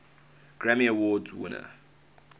grammy award winners